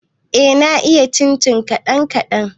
Eh, na iya sinanci kaɗan kaɗan